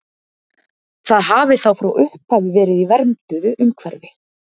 Það hafi þá frá upphafi verið í vernduðu umhverfi.